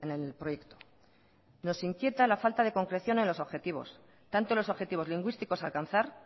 el proyecto nos inquieta la falta de concreción en los objetivos tanto los objetivos lingüísticos a alcanzar